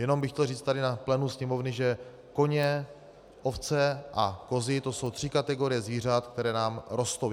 Jenom bych chtěl říct tady na plénu Sněmovny, že koně, ovce a kozy, to jsou tři kategorie zvířat, které nám rostou.